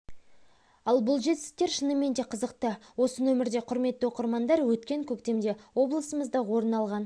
ал бұл жетістіктер шынымен де қызықты осы нөмірде құрметті оқырмандар өткен көктемде облысымызда орын алған